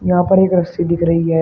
यहां पर एक रस्सी दिख रही है।